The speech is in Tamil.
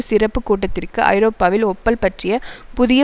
சிறப்பு கூட்டத்திற்கு ஐரோப்பாவில் ஓப்பல் பற்றிய புதிய